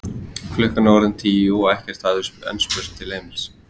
Klukkan var orðin tíu og ekkert hafði enn spurst til Emils.